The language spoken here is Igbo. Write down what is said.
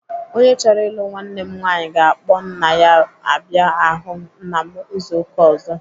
Onye chọrọ ịlụ nwanne m nwaanyi ga-akpọ nna ya abịa ahụ nna m izu ụka ọzọ.